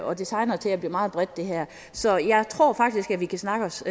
og det tegner til at blive meget bredt det her så jeg tror faktisk at vi kan snakke os